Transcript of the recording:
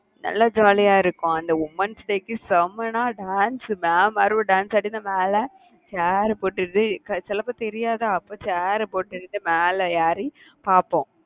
நல்ல jolly யா இருக்கும் அந்த womens day க்கு செம்மன்னா dance mam மார்கள் dance மேல chair அ போட்டது சிலபேருக்கு தெரியாதா அப்ப chair போட்டுக்கிட்டு மேல ஏறி பாப்போம்.